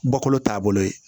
Bɔkolo taabolo ye